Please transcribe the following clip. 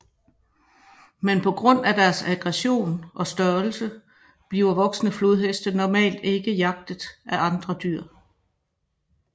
Men på grund af deres aggression og størrelse bliver voksne flodheste normalt ikke jagtet af andre dyr